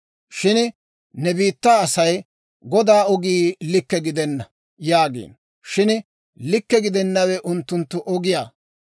« ‹Shin ne biittaa asay, «Godaa ogii likke gidenna» yaagiino; shin likke gidennawe unttunttu ogiyaa.